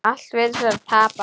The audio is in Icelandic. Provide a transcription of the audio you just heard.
Allt virtist vera tapað.